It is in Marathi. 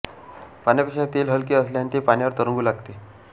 पाण्यापेक्षा तेल हलके असल्याने ते पाण्यावर तरंगू लागते